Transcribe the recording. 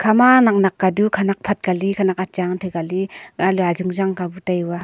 ema nak nak kali khanak phat kali achang ang thai kali tai hua a.